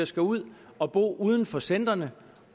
skal ud at bo uden for centrene